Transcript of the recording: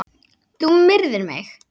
Þú myrðir mig!